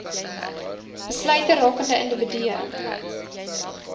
besluite rakende individue